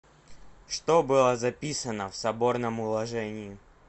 что было записано в соборном уложении